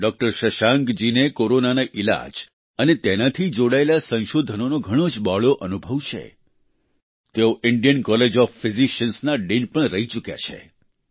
doctor શશાંકજીને કોરોનાના ઈલાજ અને તેનાથી જોડાયેલા સંશોધનનો ઘણો જ બહોળો અનુભવ છે તેઓ ઈન્ડિયન કોલેજ ઓફ ફિઝીસીઅન્સના ડીન પણ રહી ચૂક્યા છે